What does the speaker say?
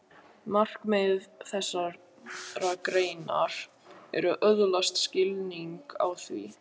Markmið þessarar greinar er að öðlast skilning á því.